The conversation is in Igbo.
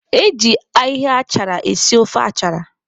Eji ahịhịa achara esi ofe achara.